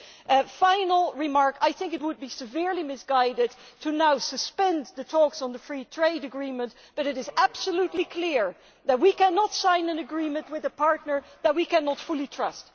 A final remark I think it would be severely misguided to now suspend the talks on the free trade agreement but it is absolutely clear that we cannot sign an agreement with a partner that we cannot fully trust.